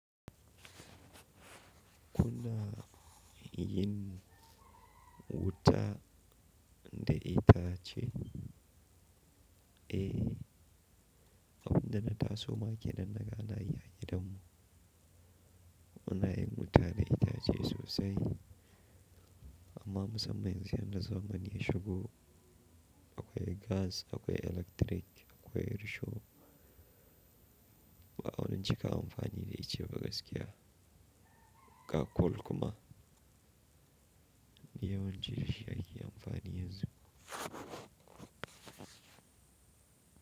Kuna yin wuta da itace? Eh, abin da na taso ma kenan na ga ana yi a gidan mu. Muna yin wuta da itace sosai, amma musamman yanzu yanda zamani ya shigo. Akwai gas, akwai electric, akwai risho. Ba a wani cika amfani da ice ba gaskiya. Ka kol kuma. Duk yawanci dashi ake amfani yanzu.